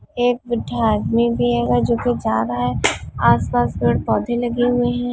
एक बुड्ढा आदमी भी हवय जो की जा रहा हैं आसपास पेड़-पौधे लगे हुए हैं।